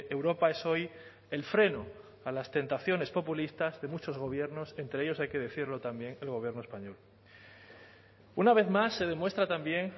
europa es hoy el freno a las tentaciones populistas de muchos gobiernos entre ellos hay que decirlo también el gobierno español una vez más se demuestra también